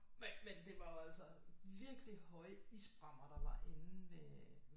Men det var jo altså virkelig høje isbrammer der var inde ved